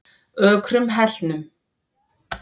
Ökrum Hellnum